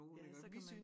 Ja så kan man